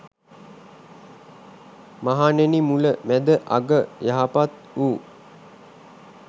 මහණෙනි මුල, මැද අග යහපත් වු